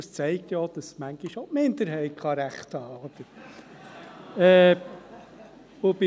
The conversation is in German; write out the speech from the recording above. Und dies zeigt ja, dass manchmal auch die Minderheit Recht haben kann, oder?